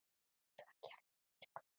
Svo hjálpi mér Guð.